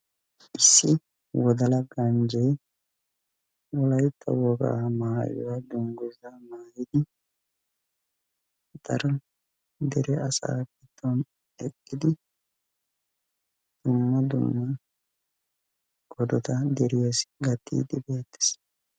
Issi wodala ganjjee wolaytta wogaa maayuwa dungguzaa maayidi daro dere. asaa giddon eqqidi dumma dumma odota deriyassi gattiiddi beettees.